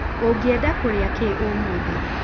Ũngĩenda kũrĩa kĩĩ ũmũthĩ?